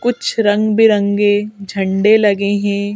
कुछ रंग बिरंगी झंडे लगे हैं।